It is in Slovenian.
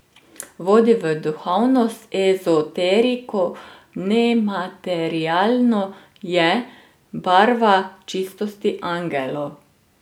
Vodi v duhovnost, ezoteriko, nematerialno, je barva čistosti, angelov.